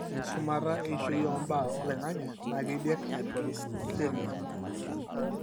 ore engisumata eishoi ombaa oloingange na kediak hyperuricemia.